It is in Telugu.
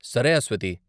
సరే, అస్వతి.